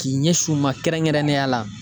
K'i ɲɛsin u ma kɛrɛnkɛrɛnnenya la?